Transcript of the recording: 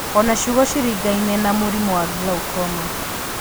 Ona ciugo ciringaine na mũrimũ wa glaucoma